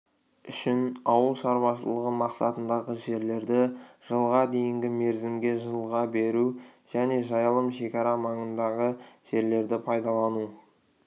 үшін ауылшаруашылығы мақсатындағы жерлерді жылға дейінгі мерзімге жалға беру және жайылым шекара маңындағы жерлерді пайдалану